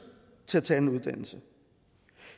til at tage en uddannelse